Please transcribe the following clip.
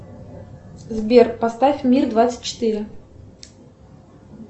сбер поставь мир двадцать четыре